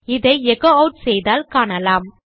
இதை எச்சோ ஆட் செய்தால் காணலாம்